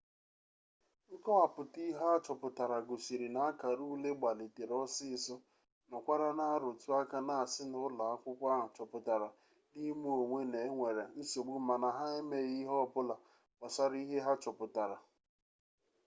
nkọwapụta ihe a chọpụtara gosiri na akara ule gbalitere ọsịịsọ nọkwara na-arụtụ aka na-asị na ụlọakwụkwọ ahụ choputara n'ime onwe na e nwere nsogbu mana ha emeghi ihe ọbụla gbasara ihe ha chọpụtara